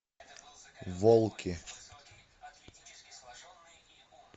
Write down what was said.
волки